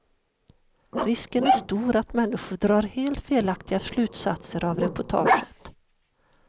Risken är stor att människor drar helt felaktiga slutsatser av reportaget.